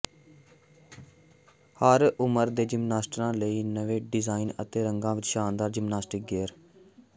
ਹਰ ਉਮਰ ਦੇ ਜਿਮਨਾਸਟਾਂ ਲਈ ਨਵੇਂ ਡਿਜ਼ਾਈਨ ਅਤੇ ਰੰਗਾਂ ਵਿੱਚ ਸ਼ਾਨਦਾਰ ਜਿਮਨਾਸਟਿਕ ਗੇਅਰ